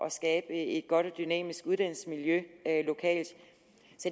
at skabe et godt og dynamisk uddannelsesmiljø lokalt